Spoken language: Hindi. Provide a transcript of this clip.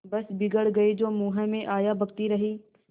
बस बिगड़ गयीं जो मुँह में आया बकती रहीं